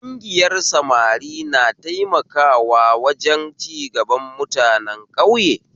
Ƙungiyar samari na taimakawa wajen cigaban mutanen ƙauye